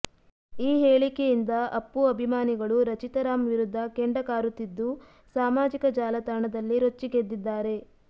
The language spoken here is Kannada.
ಈ ಹೇಳಿಕೆಯಿಂದ ಅಪ್ಪು ಅಭಿಮಾನಿಗಳು ರಚಿತಾ ರಾಮ್ ವಿರುದ್ಧ ಕೆಂಡ ಕಾರುತ್ತಿದ್ದು ಸಾಮಾಜಿಕ ಜಾಲತಾಣದಲ್ಲಿ ರೊಚ್ಚಿಗೆದ್ದಿದ್ದಾರೆ